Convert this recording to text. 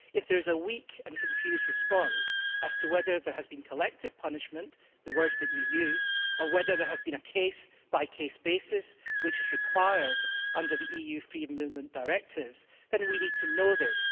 If there is a weak and confused response as to whether there has been collective punishment the words that you used or whether there has been action on a case by case basis, which is required under the EU free movement directives, then we need to know this.